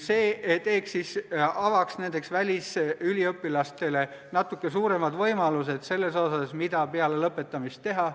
See avaks välisüliõpilastele natuke suuremad võimalused selles osas, mida peale lõpetamist teha.